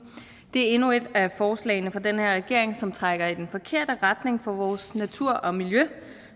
det er endnu et af forslagene fra den her regering som trækker i den forkerte retning for vores natur og miljø